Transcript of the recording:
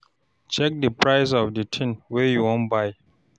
Check di price of di thing wey you wan buy